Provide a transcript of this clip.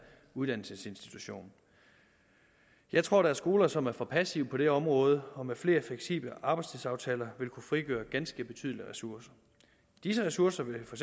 uddannelsesinstitution jeg tror der er skoler som er for passive på det område og som med flere fleksible arbejdstidsaftaler vil kunne frigøre ganske betydelige ressourcer disse ressourcer vil for